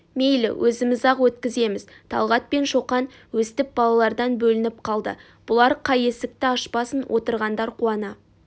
мейлі өзіміз-ақ өткіземіз талғат пен шоқан өстіп балалардан бөлініп қалды бұлар қай есікті ашпасын отырғандар қуана